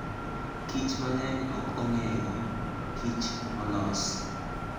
kich mang'eny ok ong'eyok kich molos.